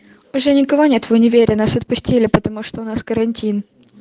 уже никого нет в универе нас отпустили потому что у нас карантин